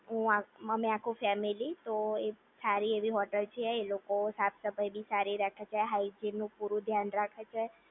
હું અમે આખુ ફેમીલી તો એ સારી એવી હોટલ છે એ લોકો બહુ સાફ-સફાઇ સારી રાખે છે અને હાયજીન નું પૂરું ધ્યાન રાખે છે